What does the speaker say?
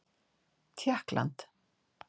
Tékkland